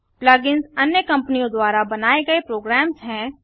plug ins अन्य कंपनियों द्वारा बनाए गए प्रोग्राम्स हैं